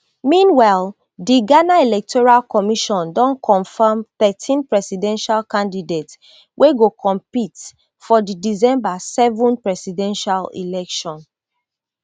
meanwhile di ghana electoral commission don confam thirteen presidential candidates wey go compete for di december seven presidential election